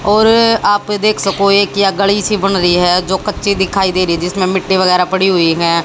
और आप देख सको एक या गडी सी बन रही है जो कच्ची दिखाई दे रही जिसमें मिट्टी वगैरह पड़ी हुई हैं।